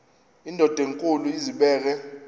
indod enkulu izibeke